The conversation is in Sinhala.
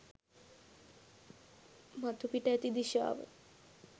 මතුපිට ඇති දිශාව